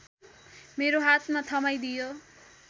मेरो हातमा थमाइदियो